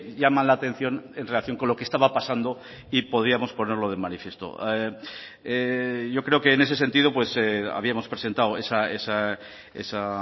llaman la atención en relación con lo que estaba pasando y podíamos ponerlo de manifiesto yo creo que en ese sentido habíamos presentado esa